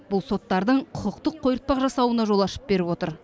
бұл соттардың құқықтық қойыртпақ жасауына жол ашып беріп отыр